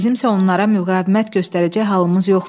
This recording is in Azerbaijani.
Bizimsə onlara müqavimət göstərəcək halımız yoxdur.